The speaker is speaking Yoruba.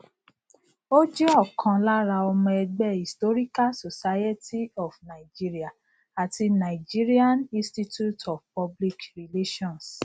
ó jẹ ọkan lára ọmọ ẹgbẹ historical society of nigeria ati nigerian institute of public relations